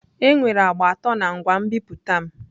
Enwere agba atọ na ngwa nbipute m.